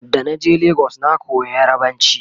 da na je legas na koya yarbanci